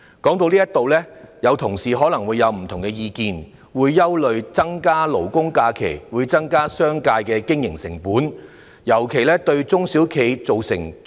說到這裏，同事可能會有不同的意見，憂慮增加勞工假期會令商界的經營成本增加，尤其是對中小企造成衝擊。